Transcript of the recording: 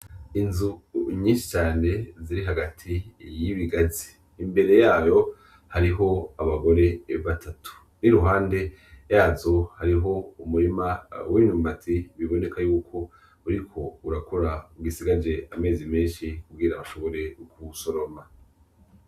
Inzu nyinshi cane ziri hagati y' ibigazi imbere yayo hariho abagore batatu, n'iruhande yazo hariho umurima w'imyumbati biboneka yuko uriko urakura udasigaje amezi menshi kugira aba shobore kuwusoroma.